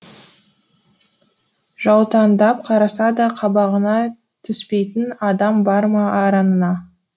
жаутаңдап қараса да қабағыңа түспейтін адам бар ма араныңа